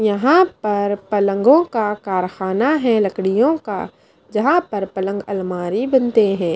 यहां पर पलंगो का कारखाना है लकड़ियों का जहां पर पलंग अलमारी बनते हैं।